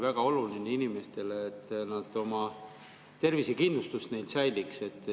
See on inimestele väga oluline, et tervisekindlustus säiliks.